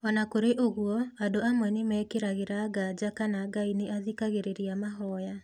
O na kũrĩ ũguo, andũ amwe nĩ mekĩragĩra nganja kana Ngai nĩ athikagĩrĩria mahoya.